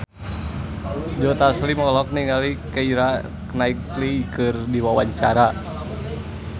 Joe Taslim olohok ningali Keira Knightley keur diwawancara